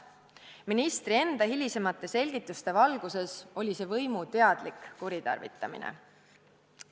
Ministri enda hilisemate selgituste valguses oli see võimu teadlik kuritarvitamine.